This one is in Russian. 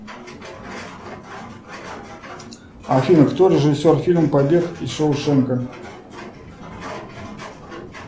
афина кто режиссер фильма побег из шоушенка